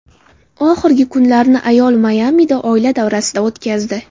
Oxirgi kunlarini ayol Mayamida, oila davrasida o‘tkazdi.